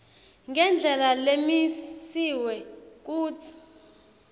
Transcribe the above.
ngendlela lemisiwe kutsi